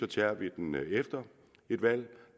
tager vi den efter et valg